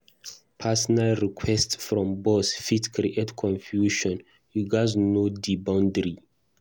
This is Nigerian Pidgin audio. Personal requests from boss fit create confusion; you gatz know di boundary.